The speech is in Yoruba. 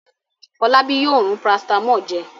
Fọlábí yóò rún parasítámọ̀ jẹ.